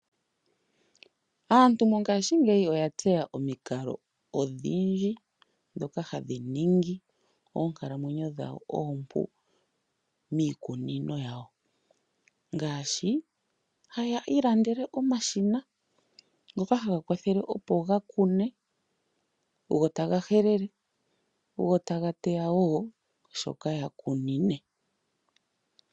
Aantu mongashingeyi oya tseya omikalo odhindji ndhoka hadhi ningi oonkalamwenyo oompu miikununo yawo ngaashi haya ilandele omashina gawo ngoka haga kunu, taga helele, go taga teya wo shoka gakunine.